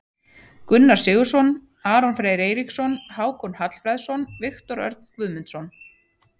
Gunnar Sigurðsson, Aron Freyr Eiríksson, Hákon Hallfreðsson, Viktor Örn Guðmundsson.